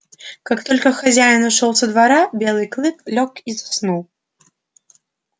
как только хозяин ушёл со двора белый клык лёг и заснул